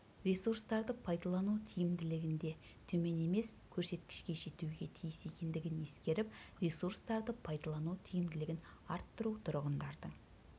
ресурстарды пайдалану тиімділігінде төмен емес көрсеткішке жетуге тиіс екендігін ескеріп ресурстарды пайдалану тиімділігін арттыру тұрғындардың